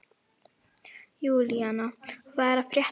Júlína, hvað er að frétta?